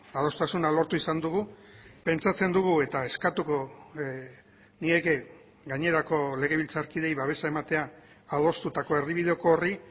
adostasuna lortu izan dugu pentsatzen dugu eta eskatuko nieke gainerako legebiltzarkideei babesa ematea adostutako erdibideko horri